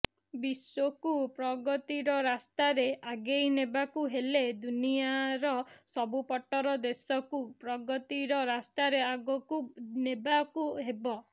ବିଶ୍ୱକୁ ପ୍ରଗତିର ରାସ୍ତାରେ ଆଗେଇ ନେବାକୁ ହେଲେ ଦୁନିଆର ସବୁପଟର ଦେଶକୁ ପ୍ରଗତିର ରାସ୍ତାରେ ଆଗକୁ ନେବାକୁ ହେବ